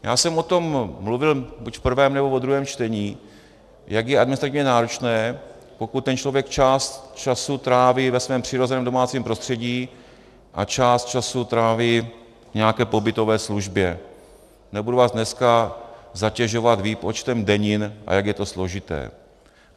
Já jsem o tom mluvil buď v prvém, nebo ve druhém čtení, jak je administrativně náročné, pokud ten člověk část času tráví ve svém přirozeném domácím prostředí a část času tráví v nějaké pobytové službě, nebudu vás dneska zatěžovat výpočtem denin, a jak je to složité.